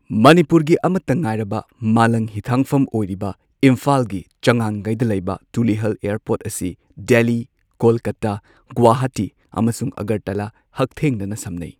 ꯃꯅꯤꯄꯨꯔꯒꯤ ꯑꯃꯠꯇ ꯉꯥꯏꯔꯕ ꯃꯥꯂꯪ ꯍꯤꯊꯥꯡꯐꯝ ꯑꯣꯏꯔꯤꯕ ꯏꯝꯐꯥꯜꯒꯤ ꯆꯉꯥꯡꯉꯩꯗ ꯂꯩꯕ ꯇꯨꯂꯤꯍꯜ ꯑꯦꯌꯔꯄꯣꯔꯠ ꯑꯁꯤ ꯗꯦꯜꯂꯤ, ꯀꯣꯜꯀꯥꯇꯥ, ꯒꯨꯋꯥꯍꯥꯇꯤ ꯑꯃꯁꯨꯡ ꯑꯒꯔꯇꯂꯥ ꯍꯛꯊꯦꯡꯅꯅ ꯁꯝꯅꯩ꯫